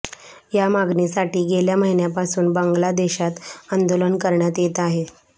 या मागणीसाठी गेल्या महिन्यापासून बांगलादेशात आंदोलनं करण्यात येत आहेत